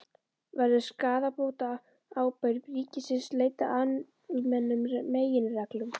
Verður skaðabótaábyrgð ríkisins leidd af almennum meginreglum?